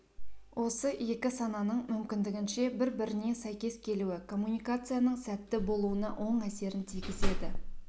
осы екі сананың мүмкіндігінше бір-біріне сәйкес келуі коммуникацияның сәтті болуына оң әсерін тигізеді